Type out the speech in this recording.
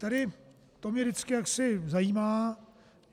Tady to mě vždycky jaksi zajímá.